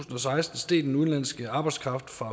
og seksten steg den udenlandske arbejdskraft fra